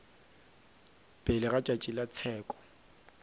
pele ga tšatši la tsheko